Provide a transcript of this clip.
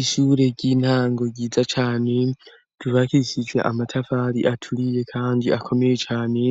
Ishure ry'intango ryiza cane dubakishije amatafari aturiye kanji akomeye cane